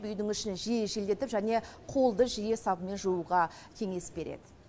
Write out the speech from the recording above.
үйдің ішін жиі желдетіп және қолды жиі сабынмен жууға кеңес береді